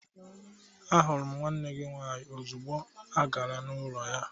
Ahụrụ m nwanne gị nwaanyị ozugbo agara m n'ụlọ ya.